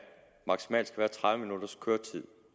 maksimalt skal være tredive minutters køretid